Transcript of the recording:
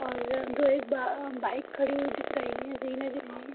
एक बाइक खड़ी हुई दिख रही है